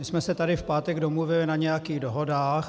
My jsme se tady v pátek domluvili na nějakých dohodách.